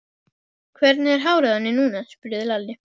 Hvernig er hárið á henni núna? spurði Lalli.